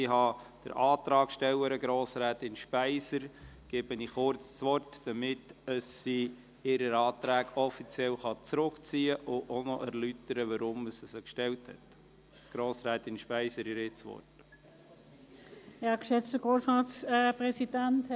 Ich gebe der Antragstellerin Speiser kurz das Wort, damit sie ihre Anträge offiziell zurückziehen und auch erläutern kann, weshalb sie diese gestellt hat.